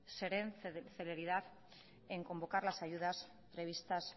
se den celeridad en convocar las ayudas previstas